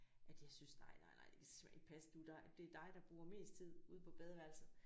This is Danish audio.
At jeg syntes nej nej nej det kan simpelthen ikke passe du det er dig der bruger mest tid ude på badeværelset